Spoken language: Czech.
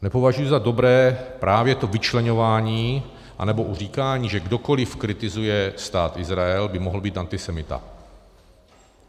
Nepovažuji za dobré právě to vyčleňování anebo říkání, že kdokoliv kritizuje Stát Izrael, by mohl být antisemita.